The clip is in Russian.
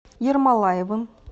ермолаевым